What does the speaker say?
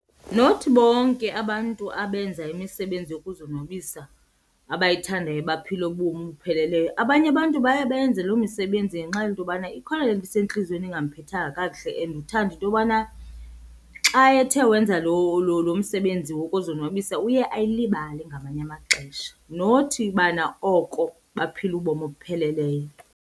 Not bonke abantu abenza imisebenzi yokuzonwabisa abayithandayo baphila ubomi obupheleleyo. Abanye abantu baye bayenze loo misebenzi ngenxa yento yobana ikhona le nto isentliziyweni ingamphethanga kakuhle and uthanda into yobana xa ethe wenza lo lo msebenzi wokuzonwabisa uye ayilibale ngamanye amaxesha. Not ubana oko baphila ubomi obupheleleyo.